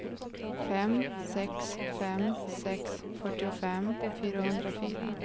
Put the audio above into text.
fem sex fem sex fyrtiofem fyrahundrafyra